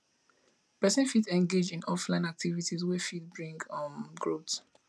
person fit engage in offline activities wey fit bring um growth